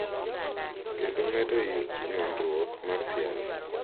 Kendo medo nywandruok mar siasa.